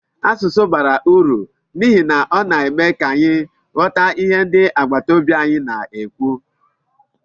Asụsụ bara uru n'ihi na ọ na-eme ka anyị ghọta ihe ndị agbataobi anyị na-ekwu.